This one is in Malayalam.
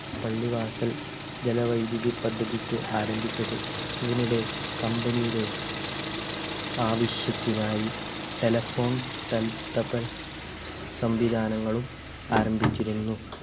പള്ളിവാസൽ ജലവൈദ്യുതി പദ്ധതിക്ക് ആരംഭിച്ചത് ഇതിനിടെ company യുടെ ആവശ്യത്തിനായി telephone ടെൽ തപൽ സംവിധാനങ്ങളും ആരംഭിച്ചിരുന്നു